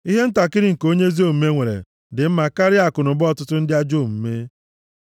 Ihe ntakịrị nke onye ezi omume nwere dị mma karịa akụnụba ọtụtụ ndị ajọ omume;